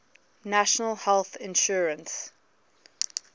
national health insurance